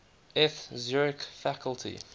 eth zurich faculty